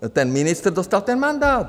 Ten ministr dostal ten mandát.